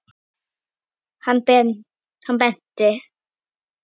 Hann benti.